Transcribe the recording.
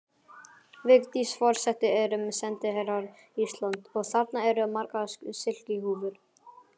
Vigdís forseti erum sendiherrar Íslands og þarna eru margar silkihúfur.